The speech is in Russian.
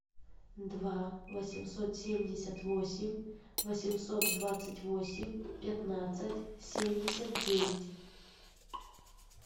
два восемьсот семьдесят восемь восемьсот двадцать восемь пятнадцать семьдесят девять